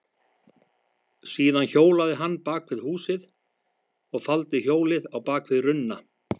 Síðan hjólaði hann bak við húsið og faldi hjólið á bak við runna.